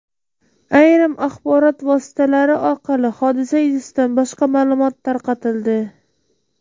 Ayrim axborot vositalari orqali hodisa yuzasidan boshqa ma’lumot tarqatildi.